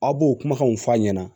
Aw b'o kumakanw fɔ a ɲɛna